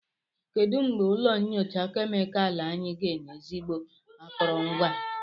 Kedu mgbe ụlọ nyocha kemịkalụ anyị ga-enwe ezigbo akụrụngwa?